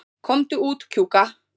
Komdu út, Kjúka.